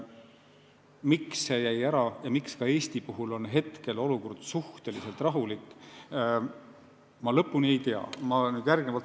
Miks see jäi ära ja miks ka Eesti seisukohalt on hetkel olukord suhteliselt rahulik, ma kindlalt ei tea.